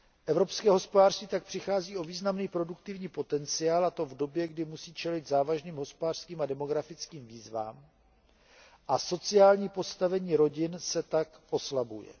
Evropské hospodářství tak přichází o významný produktivní potenciál, a to v době, kdy musí čelit závažným hospodářským a demografickým výzvám, a sociální postavení rodin se tak oslabuje.